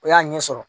O y'a ɲɛ sɔrɔ